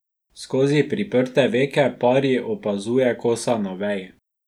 Skozi priprte veke Pari opazuje kosa na veji.